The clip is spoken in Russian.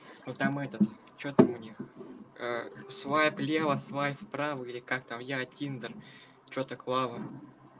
что там у них свои плела свои вправо или